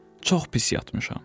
Çox pis yatmışam.